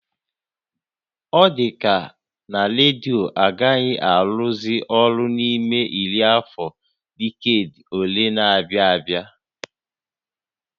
Ọ dịka na redio agaghị arụzị ọrụ n'ime iri afọ diked ole na-abịa abịa